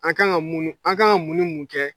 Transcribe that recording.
A ka kan ka mun an k'an mun ni mun kɛ